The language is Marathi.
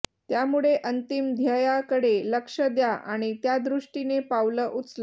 त्यामुळे अंतिम ध्येयाकडे लक्ष्य द्या आणि त्यादृष्टीने पावलं उचला